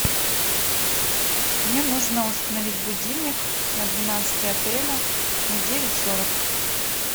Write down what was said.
мне нужно установить будильник на двенадцатое апреля на девять сорок